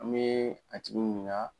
An bɛ a tigi ɲininka